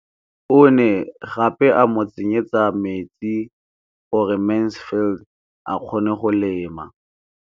O ne gape a mo tsenyetsa metsi gore Mansfield a kgone go lema.